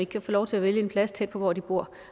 kan få lov til at vælge en plads tæt på hvor de bor